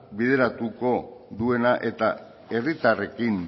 ahalbideratuko duena eta herritarrekin